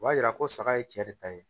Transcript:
O b'a yira ko saga ye cɛ de ta ye